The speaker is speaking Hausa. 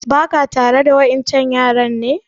Ba ka tare da wa ƴan can yaran ne?